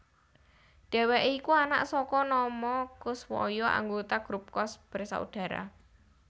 Dhèwèké iku anak saka Nomo Koeswoyo anggota grup Koes Bersaudara